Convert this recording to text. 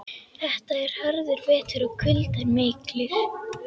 Þetta var harður vetur og kuldar miklir.